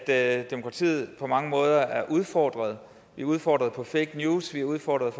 at demokratiet på mange måder er udfordret vi er udfordret af fake news vi er udfordret